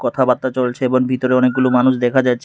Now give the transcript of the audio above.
কথাবার্তা চলছে এবং ভিতরে অনেকগুলো মানুষ দেখা যাচ্ছে।